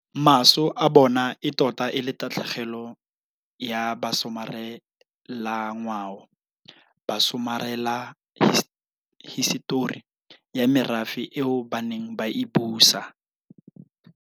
Maso a bona e tota e le tatlhe gelo ya basomarelangwao, basomarelahisetori ya merafe eo ba neng ba e busa.